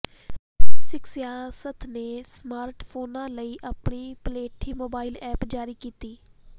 ਸਿੱਖ ਸਿਆਸਤ ਨੇ ਸਮਾਰਟ ਫੋਨਾਂ ਲਈ ਆਪਣੀ ਪਲੇਠੀ ਮੋਬਾਇਲ ਐਪ ਜਾਰੀ ਕੀਤੀ